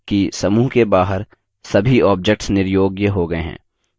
ध्यान दें कि समूह के बाहर सभी objects निर्योग्य हो गये हैं